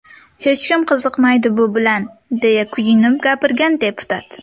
Hech kim qiziqmaydi bu bilan”, deya kuyinib gapirgan deputat.